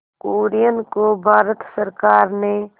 कुरियन को भारत सरकार ने